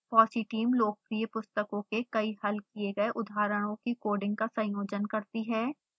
fossee team लोकप्रिय पुस्तकों के कई हल किए गए उदाहरणों की कोडिंग का संयोजन करती है